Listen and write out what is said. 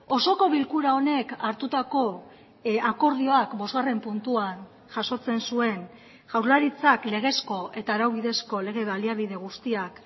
osoko bilkura honek hartutako akordioak bosgarren puntuan jasotzen zuen jaurlaritzak legezko eta arau bidezko lege baliabide guztiak